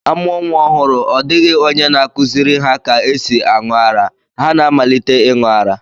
A mụo nwa ọhụru, ọ dịghị onye na-akụziri ha ka e si aṅụ ara, ha na-amalite ịṅụ ara